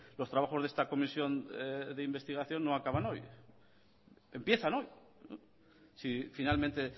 los trabajos de esta comisión de investigación no acaban hoy empiezan hoy si finalmente